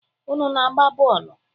Unu na-agba bọọlụ?